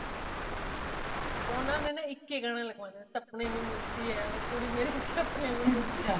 ਓਨਾ ਨੇ ਨਾ ਇੱਕ ਹੀ ਗਾਣਾ ਲਗਵਾਨਾਂ ਸਪਨੇ ਮੇ ਮਿਲਤੀ ਹੈ ਉਹ ਕੁੜੀ ਮੇਰੀ ਸਪਨੇ ਮੇ ਮਿਲਤੀ ਹੈ